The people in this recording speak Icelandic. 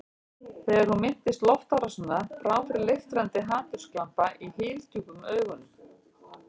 Þegar hún minntist loftárásanna brá fyrir leiftrandi hatursglampa í hyldjúpum augunum.